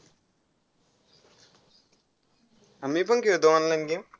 आ~ मीपण खेळतो online game